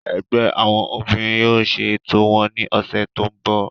Ẹgbẹ́ àwọn obìnrin yóò ṣe ètò wọn ní ọ̀sẹ̀ tó ń bọ̀